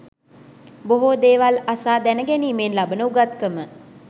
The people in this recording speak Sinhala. බොහෝ දේවල් අසා දැනගැනීමෙන් ලබන උගත්කම